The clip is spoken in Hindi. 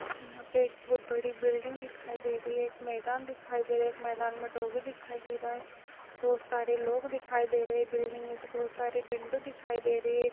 यहाँ पे एक बहोत बड़ी बिल्डिंग दिखाई दे रही है एक मैदान दिखाई दे रहा है एक मैदान में डौगी दिखाई दे रहा है बहोत सारे लोग दिखाई दे रहे है बिल्डिंग में से बहोत सारे विंडो दिखाई दे रही है।